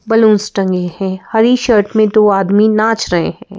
Balloons टंगे हैं हरी शर्ट में दो आदमी नाच रहे हैं।